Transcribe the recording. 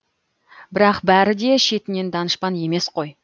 бірақ бәрі де шетінен данышпан емес қой